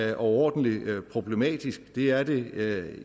er overordentlig problematisk det er det